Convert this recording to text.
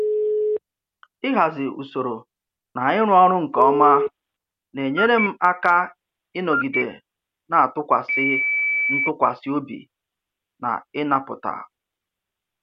Ịhazi usoro na ịrụ ọrụ nke ọma na-enyere m aka ịnọgide na-atụkwasị ntụkwasị obi na ịnapụta